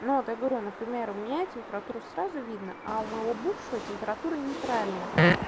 но вот я говорю например у меня температура сразу видно а у моего бывшего температура нейтральная